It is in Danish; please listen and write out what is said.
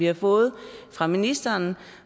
har fået fra ministeren